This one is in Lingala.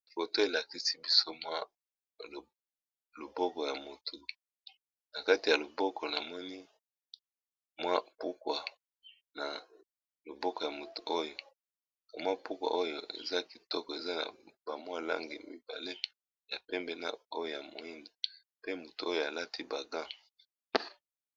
Photo oyo elakisi biso mwa loboko ya mutunakati ya loboko asimbi bamaputa eza nalangi mibale ya pembe na ya mwindu